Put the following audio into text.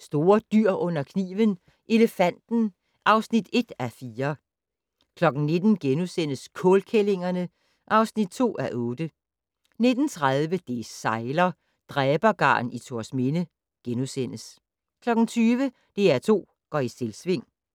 Store dyr under kniven: Elefanten (1:4) 19:00: Kålkællingerne (2:8)* 19:30: Det sejler - Dræbergarn i Thorsminde * 20:00: DR2 går i Selvsving